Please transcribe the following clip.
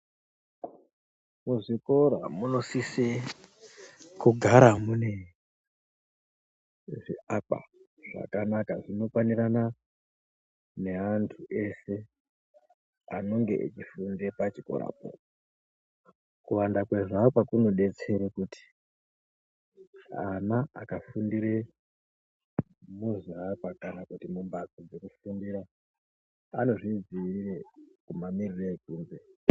Muzvikora munosise kugara mune zviakwa zvakanaka zvinokwanirana neantu eshe anenge echifunde pachikorapo, kuwanda kwezviakwa kunodetsere kuti ana aka fundire muzviakwa kana kuti mumhatso dzekufundira anozvidziirire mamirire ekunze.